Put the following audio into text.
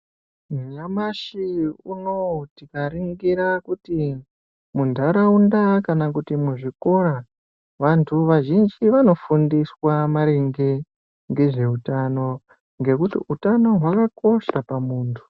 Nyamashi unowu tikaringira kuti muntaraunda kana kuti muzvikora vantu vazhinji vanofundiswe maringe ngezveutano, ngekuti utano hwakakosha pamuntu.